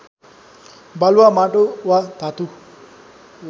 बालुवा माटो वा धातु